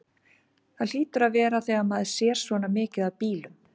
Það hlýtur að vera þegar maður sér svona mikið af bílum.